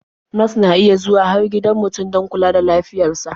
Nas na iya zuwa har gidan mutum don kula da lafiyar sa.